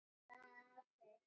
Og honum gekk bara vel.